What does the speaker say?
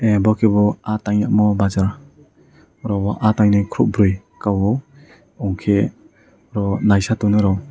abo kebo ah tainemo bazar oro o ah taine kobroi kayo wngkhe oro o naisai tongnai ro.